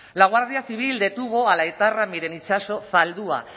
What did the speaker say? la guardia civil detuvo a la etarra miren itxaso zaldua